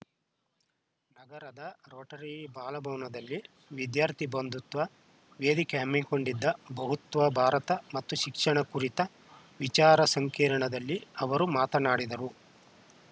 ನಗರದ ರೋಟರಿ ಬಾಲಭವನದಲ್ಲಿ ವಿದ್ಯಾರ್ಥಿ ಬಂಧುತ್ವ ವೇದಿಕೆ ಹಮ್ಮಿಕೊಂಡಿದ್ದ ಬಹುತ್ವ ಭಾರತ ಮತ್ತು ಶಿಕ್ಷಣ ಕುರಿತ ವಿಚಾರ ಸಂಕಿರಣದಲ್ಲಿ ಅವರು ಮಾತನಾಡಿದರು